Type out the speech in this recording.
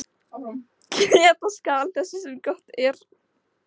Geta skal þess sem gott er.